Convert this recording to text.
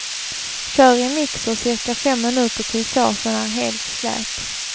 Kör i mixer cirka fem minuter tills såsen är helt slät.